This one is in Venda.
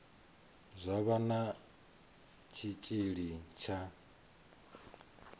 zwa vha na tshitshili tsha